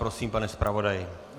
Prosím, pane zpravodaji.